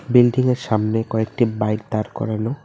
Building -এর সামনে কয়েকটি বাইক দাঁড় করানো।